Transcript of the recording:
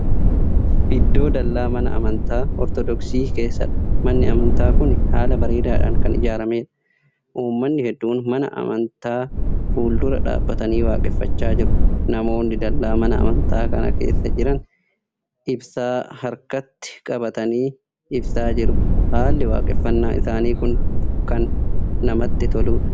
Iddoo dallaa mana amantaa ortodoksii keessadha. manni amantaa Kuni haala bareedaadhaan Kan ijaarameedha. ummanni hedduun mana amantaa fuuldura dhaabatanii waaqeffachaa jiru. namoonni dallaa Mana amantaa kana keessa Jiran ibsaa harkatti qabatanii ibsaa jiru. haalli waaqeffannaa isaanii Kuni baay'ee Kan namatti toluudha.